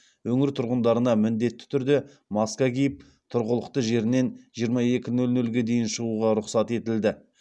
өңір тұрғындарына міндетті түрде маска киіп тұрғылықты жерінен жиырма екі нөл нөлге дейін шығуға рұқсат етілді